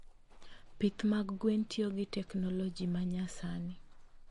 Pith mag gwen tiyo gi teknoloji ma nyasani.